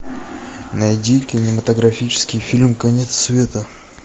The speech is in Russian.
найди кинематографический фильм конец света